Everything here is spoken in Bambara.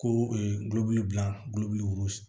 Ko gulɔ bil'a